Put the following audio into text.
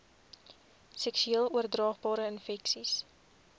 seksueel oordraagbare infeksies